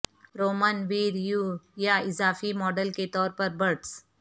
Roman ویریو یا اضافی ماڈل کے طور پر برٹس